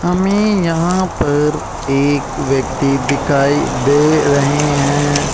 हमें यहां पर एक व्यक्ति दिखाई दे रहे हैं।